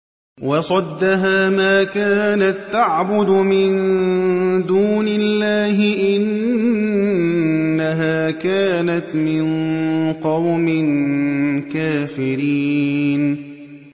وَصَدَّهَا مَا كَانَت تَّعْبُدُ مِن دُونِ اللَّهِ ۖ إِنَّهَا كَانَتْ مِن قَوْمٍ كَافِرِينَ